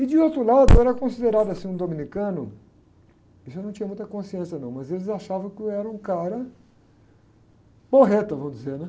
E de outro lado, eu era considerado assim, um dominicano, isso eu não tinha muita consciência não, mas eles achavam que eu era um cara porreta, vamos dizer, né?